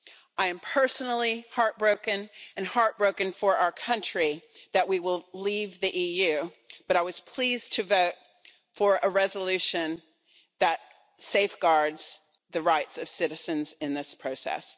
I am personally heartbroken and heartbroken for our country that we will leave the EU, but I was pleased to vote for a resolution that safeguards the rights of citizens in this process.